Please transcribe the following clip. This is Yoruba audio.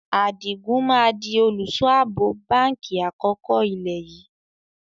Adigun máa di olùsọ abo báńkì àkọ́kọ́ ilé yìí